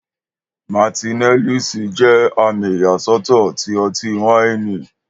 Martineliss jẹ́ àmì ìyàsọ́tọ̀ ti ọtí-wáìnì.